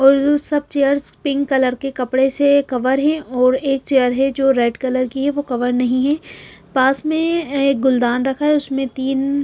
और सब chairs pink colour के कपड़े से कवर है और एक चेयर है जो रेड कलर की है वो कवर नहीं है पास में एक गुलदान रखा है उसमें तीन --